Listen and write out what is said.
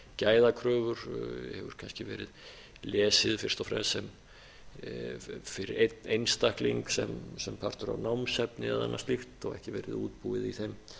gæðakröfur hefur kannski verið lesið fyrst og fremst fyrir einn einstakling sem partur af námsefni og annað slíkt og ekki verið útbúið í þeim